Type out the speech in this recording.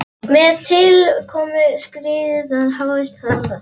Með tilkomu skriðdýranna hófst landnám hryggdýranna fyrir alvöru.